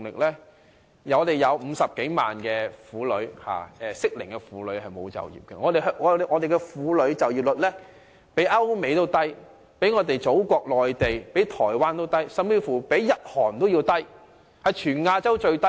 香港有50多萬名適齡婦女沒有就業，婦女就業率比歐美、內地和台灣都要低，甚至比日韓還低，是全亞洲最低。